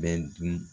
Bɛ dun